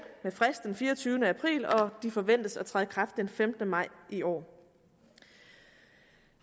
med frist den fireogtyvende april og de forventes at træde i kraft den femtende maj i år